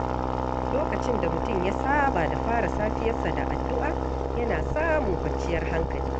Lokacin da mutum ya saba da fara safiyarsa da addu’a, yana samun kwanciyar hankali.